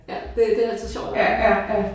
Ja det det er altid sjovt at lege med